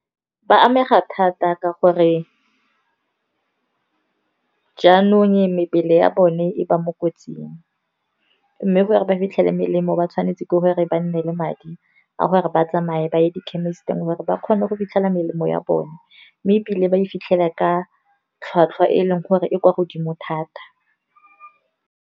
Ba amega thata ka gore jaanong mebele ya bone e ba mo kotsing mme, gore ba fitlhele melemo ba tshwanetse ke gore ba nne le madi a gore ba tsamaye ba ye di khemisiting. Gore ba kgone go fitlhella melemo ya bone mme ebile ba e fitlhela ka tlhwatlhwa e e leng gore e kwa godimo thata.